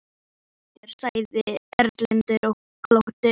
Ég er óhræddur, sagði Erlendur og glotti.